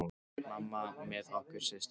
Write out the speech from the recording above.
Mamma með okkur systurnar.